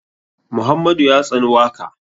Muhammadu ya tsani waka.